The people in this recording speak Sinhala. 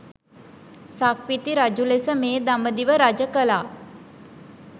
සක්විති රජු ලෙස මේ දඹදිව රජ කළා.